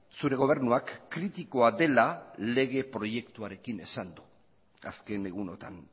zure gobernuak kritikoa dela lege proiektuarekin esan du azken egunotan